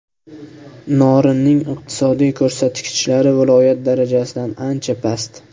Norinning iqtisodiy ko‘rsatkichlari viloyat darajasidan ancha past.